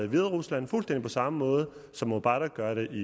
hviderusland fuldstændig på samme måde som mubarak gør det i